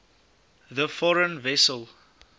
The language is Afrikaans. the foreign vessel